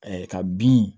ka bin